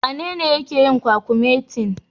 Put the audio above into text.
Wanene yake yin kwakumetin?